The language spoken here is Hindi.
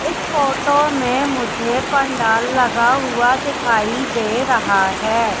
इस फोटो में मुझे पंडाल लगा हुआ दिखाई दे रहा है।